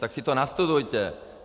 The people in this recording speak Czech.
Tak si to nastudujte!